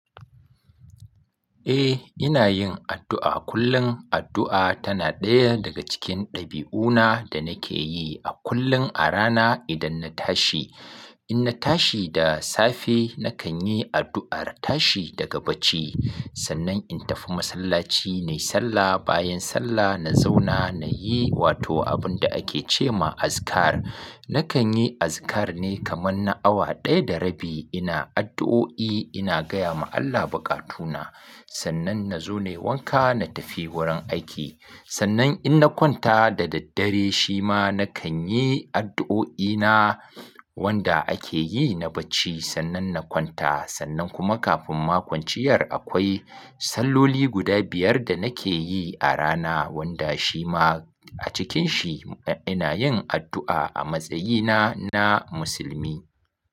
Eh, ina yin addu'a kullum. Addu'a tana ɗaya daga cikin ɗabi'una da nake yi a kullun a rana idan na tashi. In na tashi da safe, na kan yi addu'ar tashi daga bacci. Sannan in tafi masallaci na yi sallah. Bayan sallah na zauna na yi wato abin da ake ce ma azikar. Na kan yi azikar ne kaman na awa ɗaya da rabi ina addu'o'i ina gaya ma Allah bukatuna. Sannan na zo nai wanka, na tafi wurin aiki. Sannan in na kwanta da daddare shi ma na kan yi addu'o'ina wanda ake yi na bacci sannan na kwanta. Sannan kuma kafin makwanciyar akwai salloli guda biyar da nake yi a rana wanda shi ma a cikin shi ina yin addu'a a matsayina na musulmi.